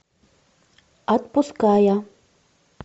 отпуская